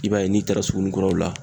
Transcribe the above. I b'a ye n'i taara suguninkuraw la.